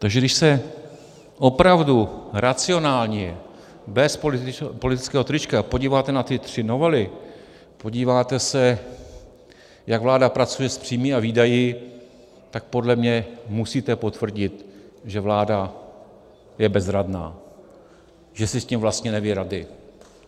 Takže když se opravdu racionálně bez politického trička podíváte na ty tři novely, podíváte se, jak vláda pracuje s příjmy a výdaji, tak podle mě musíte potvrdit, že vláda je bezradná, že si s tím vlastně neví rady.